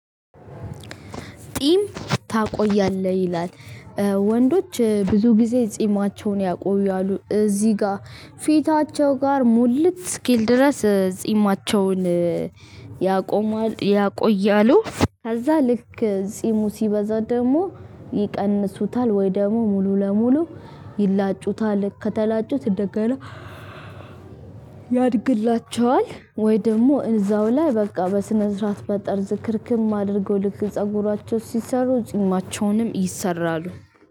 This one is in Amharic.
ጽም ታቆያለህ? ይላል ወንዶች ብዙ ጊዜ ጽማቸዉን ያቆያሉ። እዚህ ጋር ፊታቸው ጋር ሙልት እስኪል ድረስ ጽማቸዉን ያቆያሉ። ከዛ ልክ ጺሙ ሲበዛ ደግሞ ይቀንሱታል ወይ ደግሞ ሙሉ ለሙሉ ይላጩታል። ከተላጩት ደጋግመህ ያድግላቸዋል ወይ ደግሞ እዛው ላይ በቃ በስነ ስርዓት መጠርዝ ክርክም አድርገው ልክ ፀጉራቸው ሲሰሩ ጺማቸውንም ይሰራሉ።